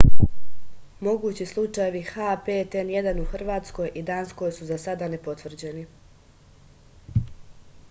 могући случајеви h5n1 у хрватској и данској су за сада непотврђени